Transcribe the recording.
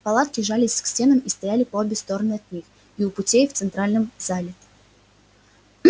палатки жались к стенам и стояли по обе стороны от них и у путей и в центральном зале